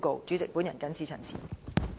主席，本人謹此陳辭。